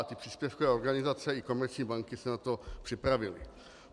A ty příspěvkové organizace i komerční banky se na to připravily.